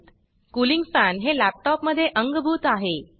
cooling fanकूलिंग fan हे laptop मध्ये अंगभूत आहे